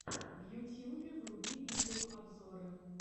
в ютьюбе вруби видеообзоры